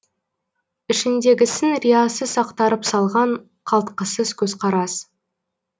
ішіндегісін риясыз ақтарып салған қалтқысыз көзқарас